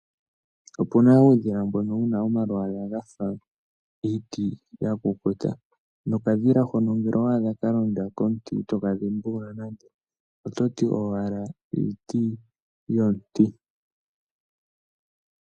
Opuna uudhila mbono wuna omalwala gafa iiti yakukuta, nokadhila hono ngele owadha kalonda komuti itoka dhimbulula nande ototi owala iiti yomuti.